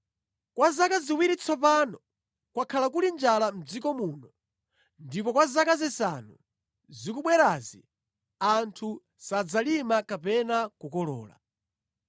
Kwa zaka ziwiri tsopano, kwakhala kuli njala mʼdziko muno, ndipo kwa zaka zisanu zikubwerazi, anthu sadzalima kapena kukolola.